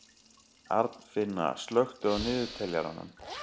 Arnfinna, slökktu á niðurteljaranum.